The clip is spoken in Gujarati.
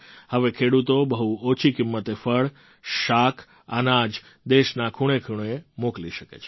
હવે ખેડૂતો બહુ ઓછી કિંમતે ફળ શાક અનાજ દેશના ખૂણેખૂણે મોકલી શકે છે